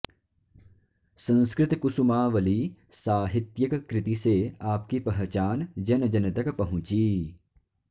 संस्कृतकुसुमावली साहित्यिक कृति से आपकी पहचान जन जन तक पहुँची